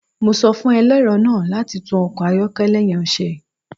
Mo sọ fun ẹlẹrọ naa lati tun ọkọ ayọkẹlẹ yẹn ṣe